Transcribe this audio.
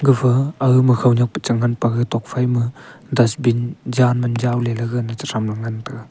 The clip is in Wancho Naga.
efa ega ma khawnyak ga tuak phai ma Dustin jan man jaw ley gaga na te tham taiga.